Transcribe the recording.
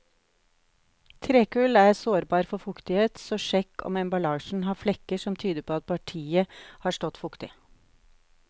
Trekull er sårbar for fuktighet, så sjekk om emballasjen har flekker som tyder på at partiet har stått fuktig.